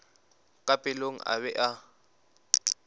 ka pelong a be a